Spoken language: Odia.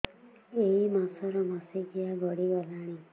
ଏଇ ମାସ ର ମାସିକିଆ ଗଡି ଗଲାଣି